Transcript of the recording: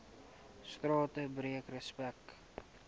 strate breek respek